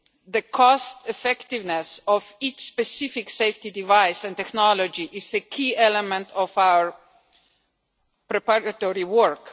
the cost effectiveness of each specific safety device and technology is a key element of our preparatory work.